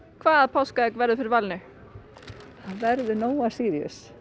hvaða páskaegg verður fyrir valinu það verður Nóa Síríus